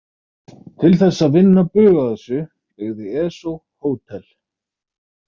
Til þess að vinna bug á þessu byggði ESO hótel.